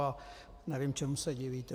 A nevím, čemu se divíte.